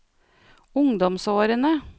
ungdomsårene